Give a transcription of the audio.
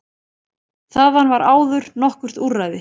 Þaðan var áður nokkurt útræði.